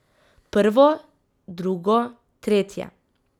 Prvo, drugo, tretje.